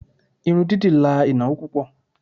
Irun dídì la ìnáwó púpò.